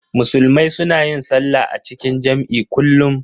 Musulmai suna yin sallah a cikin jam'i kullum.